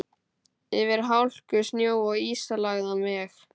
Yfir hálku, snjó og ísilagðan veg.